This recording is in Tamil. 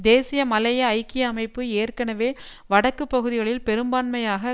தேசிய மலேய ஐக்கிய அமைப்பு ஏற்கனவே வடக்கு பகுதிகளில் பெரும்பான்மையாக